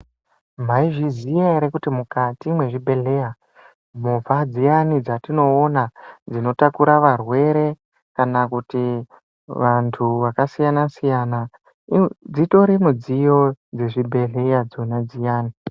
Maizviziya ere kuti mukati mwezvi bhedhleya movha dziyani dzatinoona dzinotakura varwere kana kuti vantu vakasiyana siyana dzitori midziyo dzezvi bhedhleya dzona dziyani.